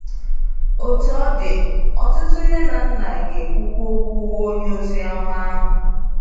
Otú ọ dị, ọtụtụ nne na nna ga-ekwukwa okwu onye ozioma ahụ.